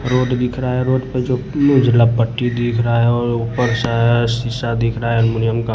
Road दिख रहा है रोड पर जो उजला पट्टी दिख रहा हैऔर ऊपर सा हिसा दिख रहा है एलुमिनियम का।